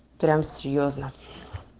прям серьёзно